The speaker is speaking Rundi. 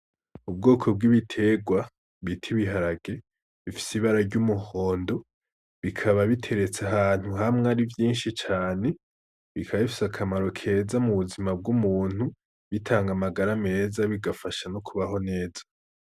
Ubwoko bw'ibiterwa bita ibiharage bifise ibara ry'umuhondo bikaba biteretse ahantu hamwe ari vyinshi cane, bikaba bifise akamaro keza m'ubuzima bw'umuntu. Bitanga amagara meza bigafasha no kubaho neza.